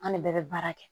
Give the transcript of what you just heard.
An ne bɛɛ bɛ baara kɛ